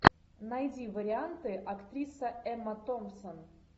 найди варианты актриса эмма томпсон